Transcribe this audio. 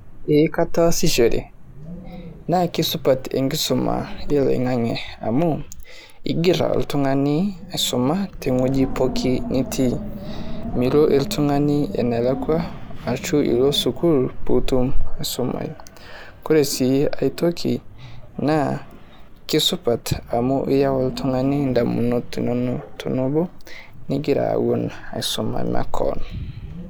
Ehh kataasishore naa keisupat enkisuma ilo aing'ang'e amu igirra oltung'ani aisuma te wueji pookin nitii. Milo oltung'ani enalakwa ashu ilo sukuul puutum aisumayu. Ore sii nkae toki naa keisupat amu iyau iltung'ani in'damunot inonok tonobo negira aun aisuma makewon.